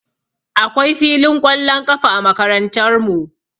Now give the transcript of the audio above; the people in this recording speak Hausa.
Akwai filin ƙwallon ƙafa a Makarantarmu